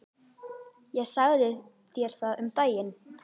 Ég sagði þér það um daginn.